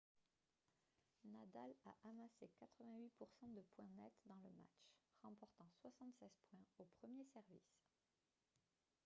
nadal a amassé 88 % de points nets dans le match remportant 76 points au premier service